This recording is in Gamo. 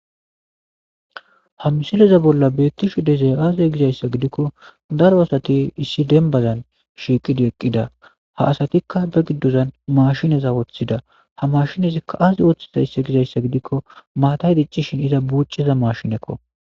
Ha misileza bolla beettishu dezay aaze gizayssa gidikko daro asati issi dembazan shiiqidi eqqida ha asatikka ba giddozan mashineza wooththida ha mashinezikka aazi woththiza issi gizayssa gidikko maatay diccishin iza buuciza mashinekko.